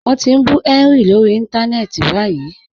Wọn ti n bú Henry lórí ìntánẹ̀ẹ̀tì báyìí.